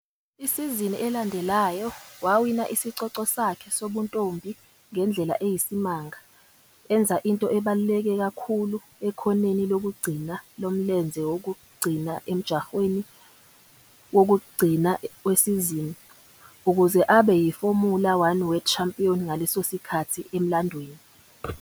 Isizini elandelayo, wawina isicoco sakhe sobuntombi ngendlela eyisimanga - enza into ebaluleke kakhulu ekhoneni lokugcina lomlenze wokugcina emjahweni wokugcina wesizini - ukuze abe yiFomula One World Champion ngaleso sikhathi emlandweni.